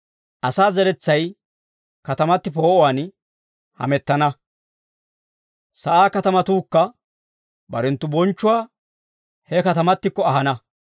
Asaa zeretsay katamati poo'uwaan hamettana. Sa'aa katatuukka barenttu bonchchuwaa he katamattikko ahana.